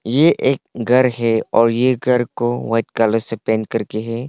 ये एक घर है और ये घर को व्हाइट कलर से पेंट करके है।